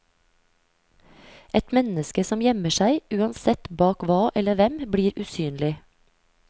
Et menneske som gjemmer seg, uansett bak hva eller hvem, blir usynlig.